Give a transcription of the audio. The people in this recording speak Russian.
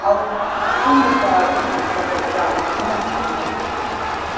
а уж шуму-то от них по ночам мочи нет